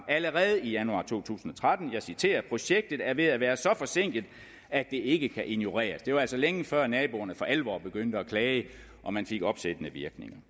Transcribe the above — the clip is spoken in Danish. allerede i januar to tusind og tretten og jeg citerer projektet er ved at være så forsinket at det ikke kan ignoreres det var altså længe før naboerne for alvor begyndte at klage og man fik opsættende virkninger